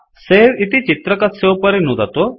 सवे इति चित्रकस्योपरि नुदतु